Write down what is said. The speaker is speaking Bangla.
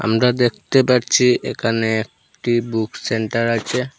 আমরা দেখতে পাচ্ছি এখানে একটি বুক সেন্টার আছে।